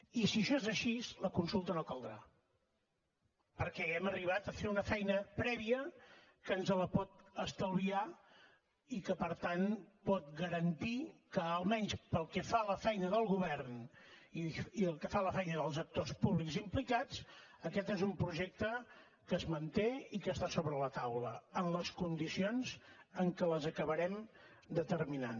i si això és així la consulta no caldrà perquè hàgim arribat a fer una feina prèvia que ens la pot estalviar i que per tant pot garantir que almenys pel que fa a la feina del govern i pel que fa a la feina dels actors públics implicats aquest és un projecte que es manté i que està sobre la taula en les condicions en què acabarem determinant